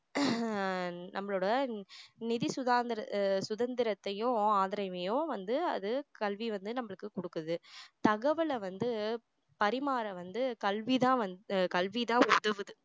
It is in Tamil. அஹ் நம்மளோட நிதி சுதாந்திர~ சுதந்திரத்தையும் ஆதரவையும் வந்து அது கல்வி வந்து நம்மளுக்கு கொடுக்குது தகவலை வந்து பரிமாற வந்து கல்விதான் வந்து உதவுது